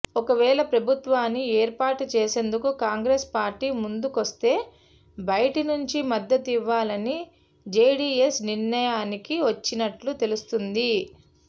ఒకవేళ ప్రభుత్వాన్ని ఏర్పాటు చేసేందుకు కాంగ్రెస్ పార్టీ ముందుకొస్తే బయటి నుంచి మద్దతివ్వాలని జేడీఎస్ నిర్ణయానికి వచ్చినట్లు తెలుస్తోంది